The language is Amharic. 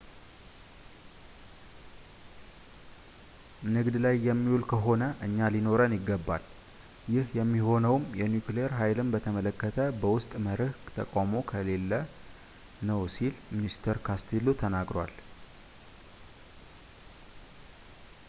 ንግድ ላይ የሚውል ከሆነ እኛ ሊኖረን ይገባል ይህ የሚሆነውም የኒውክሌር ሃይልን በተመለከተ በውስጥ መርሕ ተቃውሞ ከሌለ ነው ሲል mr costello ተናግሯል